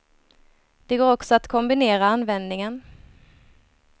Det går också att kombinera användningen.